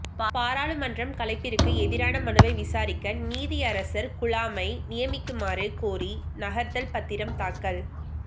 பாராளுமன்றம் கலைப்பிற்கு எதிரான மனுவை விசாரிக்க நீதியரசர் குழாமை நியமிக்குமாறு கோரி நகர்த்தல் பத்திரம் தாக்கல்